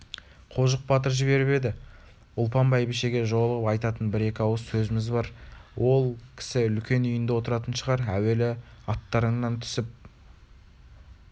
қожық батыр жіберіп еді ұлпан бәйбішеге жолығып айтатын бір-екі ауыз сөзіміз бар ол кісі үлкен үйінде отыратын шығар әуелі аттарыңнан түсіп